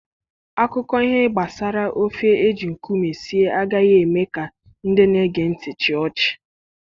Akụkọ ihe gbasara ofe eji nkume sie agaghị eme ka ndị na-ege ntị chịa ọchị.